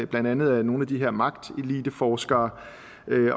blandt andet af nogle af de her magteliteforskere